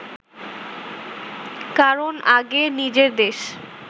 কারণ আগে নিজের দেশ